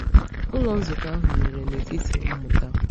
Ụlọ nzukọ ahụ mere n’etiti mmụta.